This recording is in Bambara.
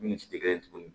Min si tɛ kelen ye tuguni